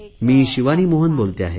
मी शिवानी मोहन बोलते आहे